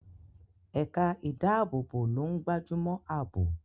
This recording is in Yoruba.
Ẹ̀ka ìdáàbòbò ló ń gbájúmọ́ àbò.